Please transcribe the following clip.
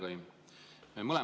Hea nimekaim!